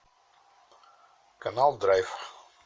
канал драйв